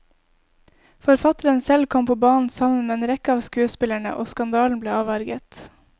Forfatteren selv kom på banen sammen med en rekke av skuespillerne, og skandalen ble avverget.